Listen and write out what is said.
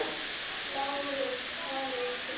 LÁRUS: Hraðið ykkur þá!